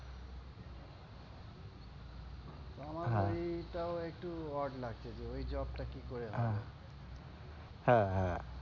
আমার এটাও একটু odd লাগছে যে ঐ job টা কি করে হবে? হ্যাঁ হ্যাঁ,